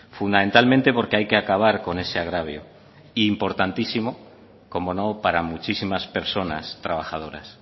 fundamentalmente porque hay que acabar con ese agravio e importantísimo cómo no para muchísimas personas trabajadoras